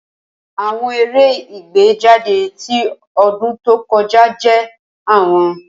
Awọn eré igbejade ti odun to koja je awon.